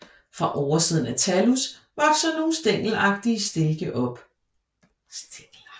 Fra oversiden af thallus vokser nogle stængelagtige stilke op